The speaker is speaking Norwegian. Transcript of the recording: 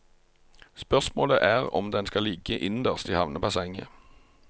Spørsmålet er om den skal ligge innerst i havnebassenget.